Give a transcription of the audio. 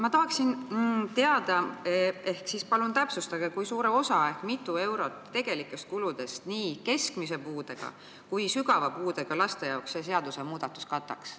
Ma tahaksin teada, kui suure osa ehk kui mitu eurot nii keskmise puudega kui ka sügava puudega laste tegelikest kuludest see seadusmuudatus kataks.